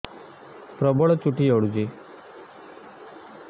ପ୍ରବଳ ଚୁଟି ଝଡୁଛି